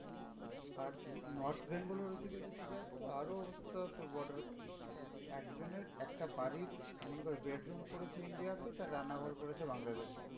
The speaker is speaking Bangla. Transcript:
আর north bengal এর ওইদিকে যদি যাস তো আরও অবস্থা তোর border এর একজনের একটা বাড়ির মনে কর bedroom পড়েছে India তে তার রান্নাঘর পড়েছে বাংলাদেশে।